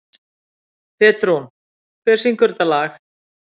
Petrún, hver syngur þetta lag?